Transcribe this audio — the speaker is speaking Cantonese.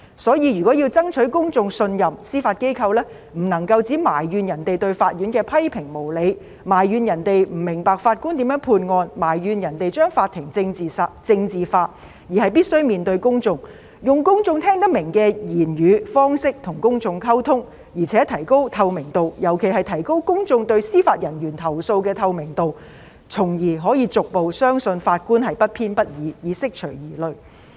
因此，如果要爭取公眾信任，司法機構不能只埋怨別人對法院的批評無理，埋怨別人不明白法官如何判案，埋怨別人將法庭政治化，而是必須面對公眾，用公眾聽得明的語言、方式與公眾溝通，而且提高透明度，尤其是提高公眾對司法人員投訴的透明度，從而可以逐步相信法官不偏不倚，以釋除疑慮。